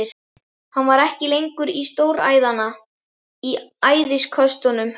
Hann var ekki lengur til stórræðanna í æðisköstunum.